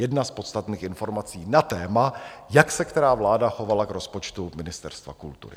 Jedna z podstatných informací na téma, jak se která vláda chovala k rozpočtu Ministerstva kultury.